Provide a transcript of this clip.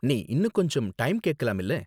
நீ இன்னும் கொஞ்சம் டைம் கேக்கலாம் இல்ல?